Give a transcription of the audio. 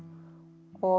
og